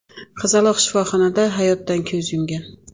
Qizaloq shifoxonada hayotdan ko‘z yumgan.